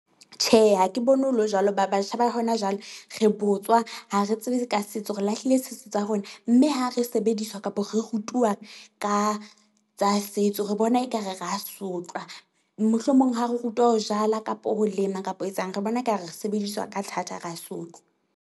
Tjhe, ha ke bone ho le jwalo ba batjha ba hona jwale re botswa ha re tsebe ka setso, re lahlile setso tsa rona. Mme ha re sebediswa kapo re rutuwa ka tsa setso. Re bona ekare ra sotlwa, mohlomong ha re rutwa ho jala kapo ho lema kapo ho etsang re bona ekare re sebediswa ka thata, ra sotlwa.